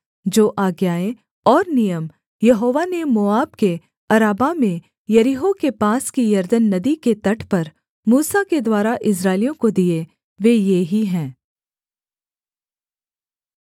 जो आज्ञाएँ और नियम यहोवा ने मोआब के अराबा में यरीहो के पास की यरदन नदी के तट पर मूसा के द्वारा इस्राएलियों को दिए वे ये ही हैं